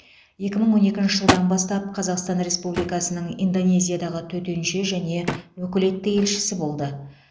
екі мың он екінші жылдан бастап қазақстан республикасының индонезиядағы төтенше және өкілетті елшісі болды